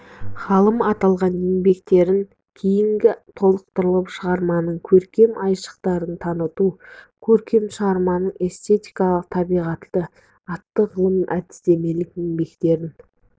ғалым аталған еңбектерін кейін толықтырып шығарманың көркем айшықтарын таныту көркем шығарманың эстетикалық табиғаты атты ғылыми-әдістемелік еңбектерін